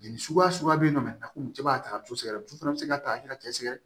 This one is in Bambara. Jeli suguya suguya bɛ yen nɔ a ko cɛ b'a ta so dɛ fana bɛ se ka ta a kɛra cɛ sɛgɛrɛ ye